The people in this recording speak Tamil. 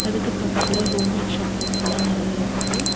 இதுக்கு பக்கத்துல ஹோம் மேட் சாக்லேட்ஸ் எல்லா நறையா இருக்கு.